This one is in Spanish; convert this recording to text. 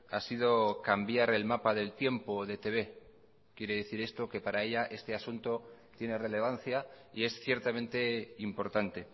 ha sido cambiar el mapa del tiempo de etb quiere decir esto que para ella este asunto tiene relevancia y es ciertamente importante